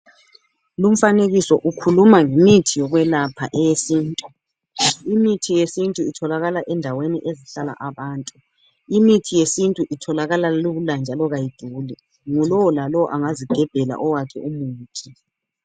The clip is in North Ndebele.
Lumfanekiso ukhuluma ngemithi yokwelapha eyesintu . Imithi yesintu itholakala endaweni ezihlala abantu, Imithi yesintu itholakala lula njalo kayiduli ,ngulo lalowo angazigebhela owakhe umuthi .